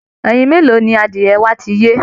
Ẹyin mélòó ni adìẹ wa ti yé?